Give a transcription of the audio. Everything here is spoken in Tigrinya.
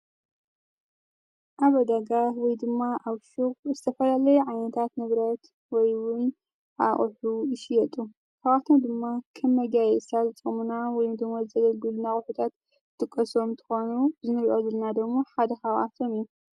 ኣበደጋህ ወይ ድማ ኣው ሽጕ ዝተፈልለይ ዓንታት ንብረት ወይውን ኣኦሑ ይሽየጡ ተዋኽቶን ድማ ከም መጋየእሳት ዝጾሙና ወይ ምቶሞት ዝዘለልቢል እናቝሑታት ጥቈሶም ትኾኑ ዝኒልዑ ዘልናደሞ ሓደ ኸዋኣፈም እዩ።